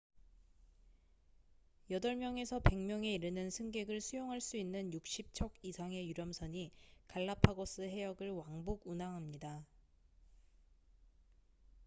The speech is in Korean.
8명에서 100명에 이르는 승객을 수용할 수 있는 60척 이상의 유람선이 갈라파고스 해역을 왕복 운항합니다